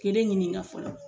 Kelen ɲinika fɔlɔ.